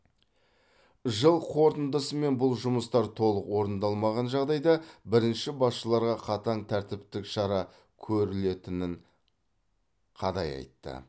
жыл қорытындысымен бұл жұмыстар толық орындалмаған жағдайда бірінші басшыларға қатаң тәртіптік шара көрілетінін қадай айтты